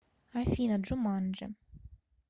афина джуманджи